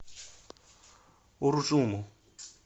уржуму